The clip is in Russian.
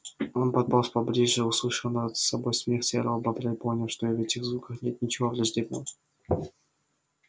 он подполз поближе услышал над собой смех серого бобра и понял что и в этих звуках нет ничего враждебного